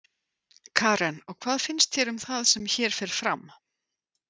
Karen: Og hvað finnst þér um það sem hér fer fram?